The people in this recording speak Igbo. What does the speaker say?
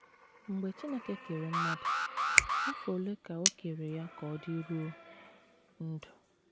Mgbe Chineke kere mmadụ, afọ ole ka o kere ya ka ọ dịruo ndụ?